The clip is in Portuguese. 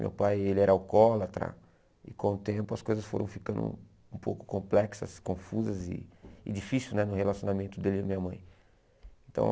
Meu pai ele era alcoólatra e com o tempo as coisas foram ficando um pouco complexas, confusas e e difíceis né no relacionamento dele e da minha mãe. Então